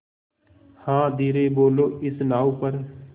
हाँ धीरे बोलो इस नाव पर